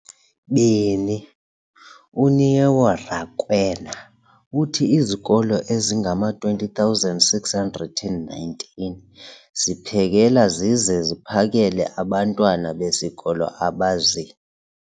beni, uNeo Rakwena, uthi izikolo ezingama-20 619 ziphekela zize ziphakele abantwana besikolo abazi-